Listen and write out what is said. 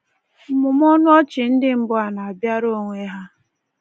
Mmụmụ ọnụọchị ndị mbụ a na-abịara onwe ha.